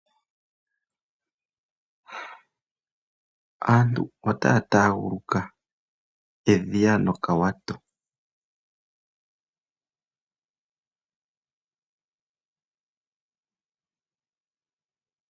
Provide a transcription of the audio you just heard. Aantu ota ya taguluka edhiya no kawato.